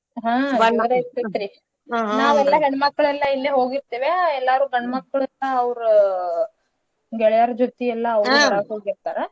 ಹಾ ನಾವೆಲ್ಲಾ ಹೆಣ್ ಮಕ್ಕಳೆಲ್ಲಾ ಇಲ್ಲೆ ಹೋಗಿರ್ತೇವ್ಯಾ ಎಲ್ಲಾರು ಗಂಡ್ಮಕ್ಳನ್ನ ಅವ್ರ ಗೆಳಯಾರ್ಜತಿ ಹೋಗಿರ್ತಾರ.